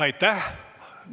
Aitäh!